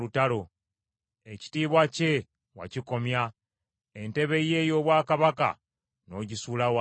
Ekitiibwa kye wakikomya; entebe ye ey’obwakabaka n’ogisuula wansi.